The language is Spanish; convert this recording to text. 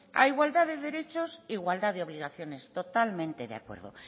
a igualdad de derechos igualdad de obligaciones totalmente de acuerdo